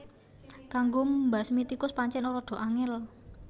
Kanggo mbasmi tikus pancén rada angél